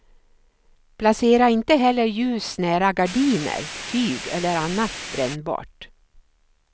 Placera inte heller ljus nära gardiner, tyg eller annat brännbart.